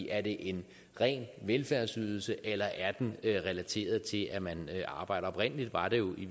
er det en ren velfærdsydelse eller er den relateret til at man arbejder oprindelig var det jo i